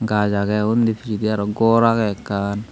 gaj agey undi pijedi aro ghor agey ekkan.